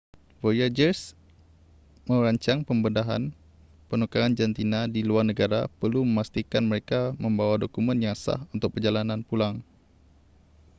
voyagers merancang pembedahan penukaran jantina di luar negara perlu memastikan mereka membawa dokumen yang sah untuk perjalanan pulang